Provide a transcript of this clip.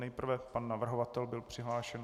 Nejprve pan navrhovatel byl přihlášen.